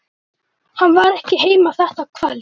Hann var ekki heima þetta kvöld.